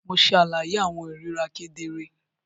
Mo ṣe àlàyé awọn ohùn irira kedere.